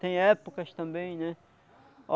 Tem épocas também, né?